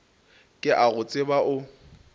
ke a go tseba o